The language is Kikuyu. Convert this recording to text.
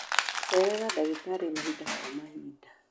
Cerera ndagĩtarĩ mahinda kwa mahinda.